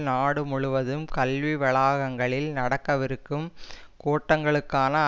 நாடு முழுவதும் கல்வி வளாகங்களில் நடக்கவிருக்கும் கூட்டங்களுக்கான